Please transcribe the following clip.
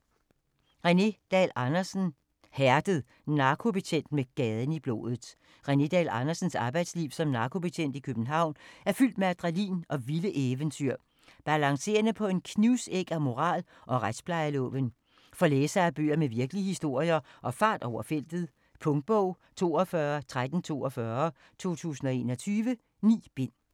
Dahl Andersen, René: Hærdet: narkobetjent med gaden i blodet René Dahl Andersens arbejdsliv som narkobetjent i København er fyldt med adrenalin og vilde eventyr, balancerende på en knivsæg af moral og retsplejeloven. For læsere af bøger med virkelige historier og fart over feltet. Punktbog 421342 2021. 9 bind.